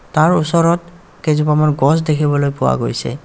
তাৰ ওচৰত কেইজোপামান গছ দেখিবলৈ পোৱা গৈছে.